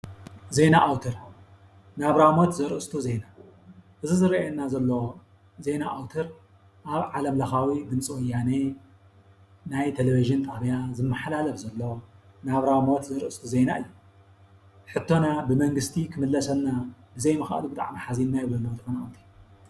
ዜና ኣውተር ናብራ ሞት ዘርእስቱ ዜና። እዚ ዝረኣየና ዘሎ ዜና ኣውተር ኣብ ዓለምለካዊ ድምፂ ወያነ ናይ ቴሌቭዥን ጣብያ ዝመሓላለፍ ዘሎ ናብራ ሞት ዘርእስቱ ዜና እዩ። ሕቶና ብመንግስቲ ክምለሰልና ብዘይምክኣሉ ብጣዕሚ ሓዚና ይብሉ ኣለው ተፈናቀለቲ።